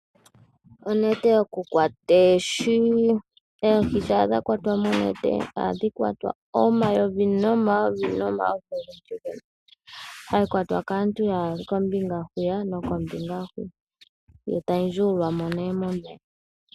Oohi shampa dha kwatwa nonete oha dhi zimo omayovi nomayovi. Onete ohayi kwatwa kaantu yaali kombinga huka naahwiyaka eta yi ndjuulwamo nduno momeya.